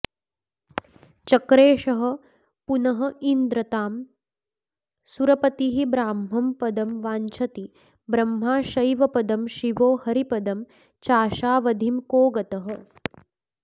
चक्रेषः पुनरिन्द्रतां सुरपतिः ब्राह्मं पदं वाञ्छति ब्रह्मा शैवपदं शिवो हरिपदं चाशावधिं को गतः